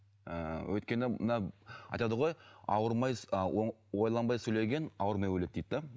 ііі өйткені мына айтады ғой ауырмай ойланбай сөйлеген ауырмай өледі дейді де